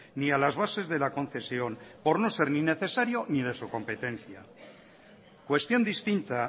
ni a las bases de la concesión por no ser ni necesario ni de su competencia cuestión distinta